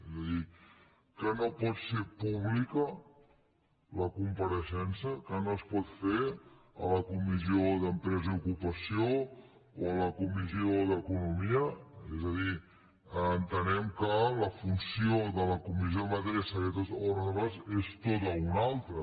és a dir que no pot ser pública la compareixença que no es pot fer a la comissió d’empresa i ocupació o a la comissió d’economia és a dir entenem que la funció de la comissió de matèries secretes o reservades és tota una altra